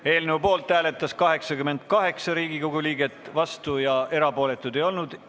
Hääletustulemused Poolt hääletas 88 Riigikogu liiget, vastuolijaid ja erapooletuid ei olnud.